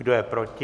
Kdo je proti?